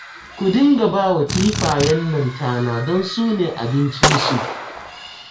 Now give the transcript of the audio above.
Ku dinga ba wa kifayen nan tana don su ne abincinsu